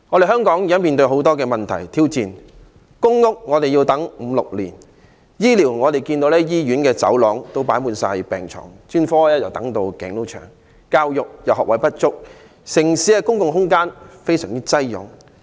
香港現時面對很多問題及挑戰：輪候公屋需時五六年；在公營醫療方面，醫院的走廊放滿病床，專科等候時間極長；教育學位不足，城市的公共空間亦非常擠擁。